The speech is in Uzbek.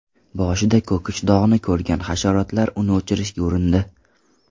Boshida ko‘kish dog‘ni ko‘rgan hasharotlar uni o‘chirishga urindi.